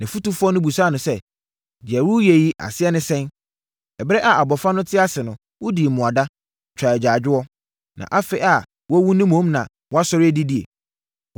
Nʼafotufoɔ no bisaa no sɛ, “Deɛ woreyɛ yi, aseɛ ne sɛn? Ɛberɛ a abɔfra no te ase no, wodii mmuada, twaa agyaadwoɔ. Na afei a wawu no mmom na woasɔre adidie!”